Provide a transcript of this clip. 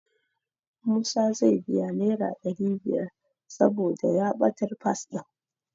Musa zai biya Naira ɗari biyar saboda ya ɓatar Fas ɗin.